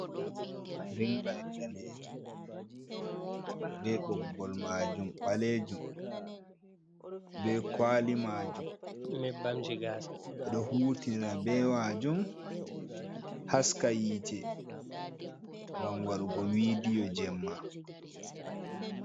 Rink lait danejum, be ɓoggol majum ɓalejum, be kwali majum. Ɓeɗo hutiira be majum haskayite gam waɗu go vidiyo jemma.